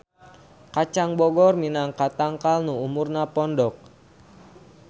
Kacang bogor minangka tangkal nu umurna pondok.